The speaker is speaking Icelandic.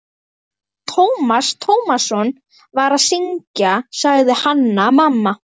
Hann Tómas Tómasson var að syngja, sagði Hanna-Mamma.